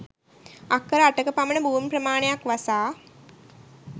අක්කර 8 ක පමණ භූමි ප්‍රමාණයක් වසා